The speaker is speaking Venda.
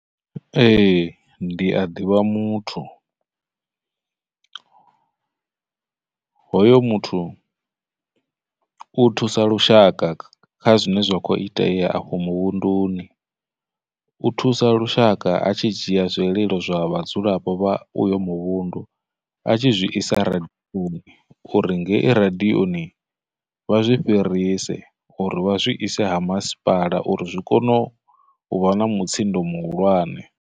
Ee, ndi a ḓivha muthu, hoyo muthu u thusa lushaka kha zwine zwa khou itea afho muvhunduni, u thusa lushaka a tshi dzhia zwililo zwa vhadzulapo vha uyo muvhundu a tshi zwi isa radiyoni, uri ngei radiyoni vha zwi fhirisele uri vha zwi ise ha masipala uri zwi kone u vha na mutsindo muhulwane.